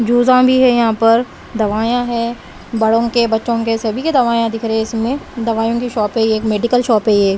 जूसा भी हैं यहाँ पर दवाइयां है बड़ों के बच्चों के सभी के दवाइयां दिख रहे हैं इसमें दवाइयों की शॉप है ये मेडिकल शॉप है ये।